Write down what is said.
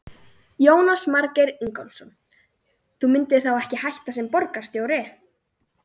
Jónas Margeir Ingólfsson: Þú myndir þá ekki hætta sem borgarstjóri?